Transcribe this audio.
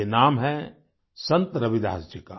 ये नाम है संत रविदास जी का